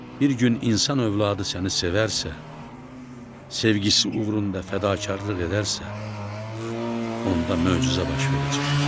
Bir gün insan övladı səni sevərsə, sevgisi uğrunda fədakarlıq edərsə, onda möcüzə baş verəcək.